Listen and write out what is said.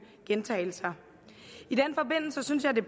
gentagelser i den forbindelse synes jeg det